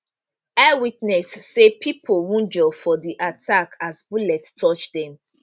eyewitness say pipo wunjure for di attack as bullet touch dem